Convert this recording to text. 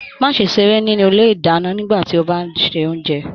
Má ṣe seré nínú ilé ìdáná nígbàtí o bá n ṣe oúnjẹ.